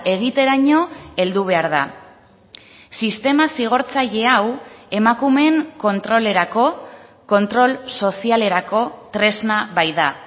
egiteraino heldu behar da sistema zigortzaile hau emakumeen kontrolerako kontrol sozialerako tresna baita